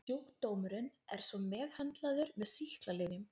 Sjúkdómurinn er svo meðhöndlaður með sýklalyfjum.